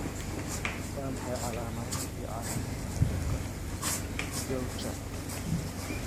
Waa maxay calaamadaha iyo calaamadaha cudurka Gaucher?